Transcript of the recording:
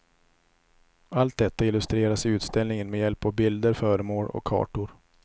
Allt detta illustreras i utställningen med hjälp av bilder, föremål och kartor.